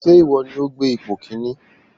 Ṣé ìwọ ní o gbé ipò kìíní?